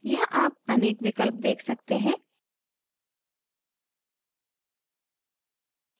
यहाँ आप अनेक विकल्प देख सकते हैं